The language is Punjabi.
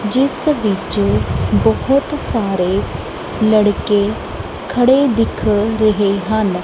ਜਿਸ ਵਿੱਚ ਬਹੁਤ ਸਾਰੇ ਲੜਕੇ ਖੜੇ ਦਿਖ ਰਹੇ ਹਨ।